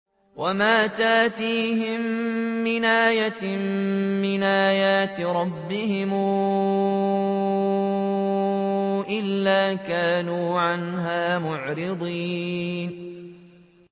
وَمَا تَأْتِيهِم مِّنْ آيَةٍ مِّنْ آيَاتِ رَبِّهِمْ إِلَّا كَانُوا عَنْهَا مُعْرِضِينَ